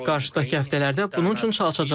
Qarşıdakı həftələrdə bunun üçün çalışacağıq.